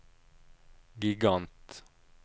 gigant